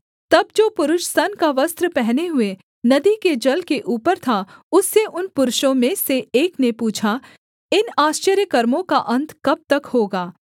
तब जो पुरुष सन का वस्त्र पहने हुए नदी के जल के ऊपर था उससे उन पुरुषों में से एक ने पूछा इन आश्चर्यकर्मों का अन्त कब तक होगा